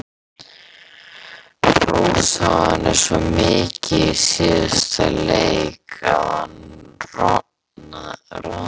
Orðið úti í skafli eða dottið fram af bjargbrún.